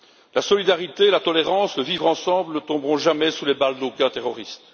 La solidarité, la tolérance, le vivre ensemble ne tomberont jamais sous les balles d'aucun terroriste.